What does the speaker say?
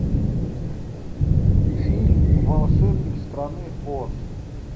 фильм волшебник страны оз